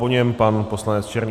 Po něm pan poslanec Černý.